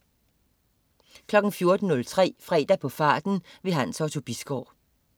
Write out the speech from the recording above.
14.03 Fredag på farten. Hans Otto Bisgaard